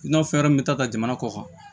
I n'a fɔ fɛn wɛrɛ min bɛ taa ka jamana kɔ kan